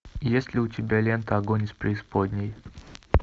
есть ли у тебя лента огонь из преисподней